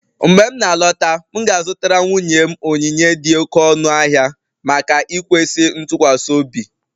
Mgbe m na-alọta, m ga-azụtara nwunye m onyinye dị oké ọnụ ahịa maka ikwesị ntụkwasị obi